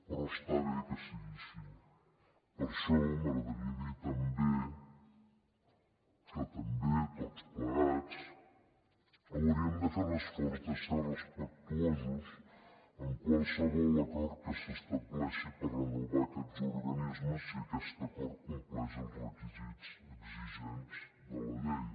però està bé que sigui així per això m’agradaria dir també que també tots plegats hauríem de fer l’esforç de ser respectuosos amb qualsevol acord que s’estableixi per renovar aquests organismes si aquest acord compleix els requisits exigents de la llei